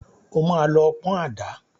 O máa lọ pọn àdá.